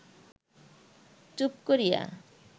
চুপ করিয়া